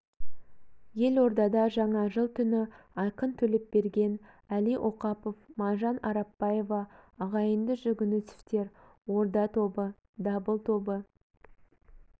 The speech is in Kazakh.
елордада жаңа жыл түні айқын төлепберген әли оқапов маржан арапбаева ағайынды жүгінісовтер орда тобы дабыл тобы